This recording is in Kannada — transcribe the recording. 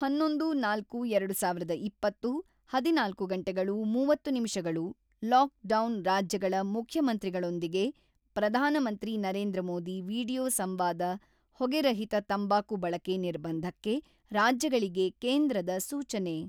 ಹನ್ನೊಂದು.ನಾಲ್ಕು.ಎರಡು ಸಾವಿರದ ಇಪ್ಪತ್ತು ಹದಿನಾಲ್ಕು ಗಂಟೆಗಳು ಮೂವತ್ತು ನಿಮಿಷಗಳು ಲಾಕ್‌ಡೌನ್: ರಾಜ್ಯಗಳ ಮುಖ್ಯಮಂತ್ರಿಗಳೊಂದಿಗೆ ಪ್ರಧಾನಮಂತ್ರಿ ನರೇಂದ್ರ ಮೋದಿ ವಿಡಿಯೋ ಸಂವಾದ ಹೊಗೆರಹಿತ ತಂಬಾಕು ಬಳಕೆ ನಿರ್ಬಂಧಕ್ಕೆ ರಾಜ್ಯಗಳಿಗೆ ಕೇಂದ್ರದ ಸೂಚನೆ.